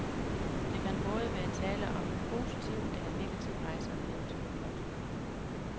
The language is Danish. Der kan både være tale om en positiv eller en negativ rejseoplevelse. punktum